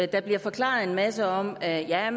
der bliver forklaret en masse om at der er